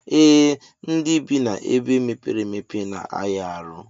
Ee ndi bi na ebe mepere emepe na aya arụ.